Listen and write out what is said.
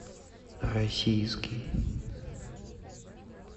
российский